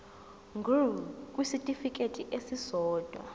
ngur kwisitifikedi esisodwa